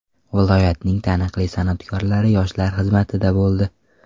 Viloyatning taniqli san’atkorlari yoshlar xizmatida bo‘ldi.